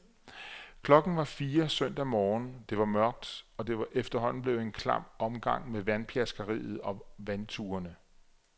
Klokken var fire søndag morgen, det var mørkt, og det var efterhånden blevet en klam omgang med vandpjaskeriet og vandturene.